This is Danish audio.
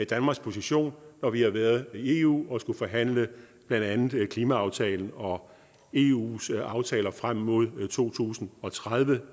danmarks position når vi har været i eu og forhandlet blandt andet klimaaftalen og eus aftaler frem mod to tusind og tredive